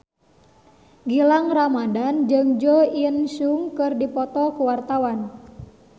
Gilang Ramadan jeung Jo In Sung keur dipoto ku wartawan